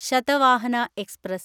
Satavahana express